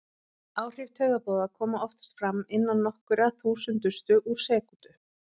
Áhrif taugaboða koma oftast fram innan nokkurra þúsundustu úr sekúndu.